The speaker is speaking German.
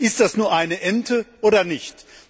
Ist das nur eine Ente, oder nicht?